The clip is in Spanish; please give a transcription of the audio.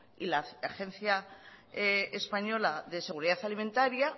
y la agencia española de seguridad alimentaria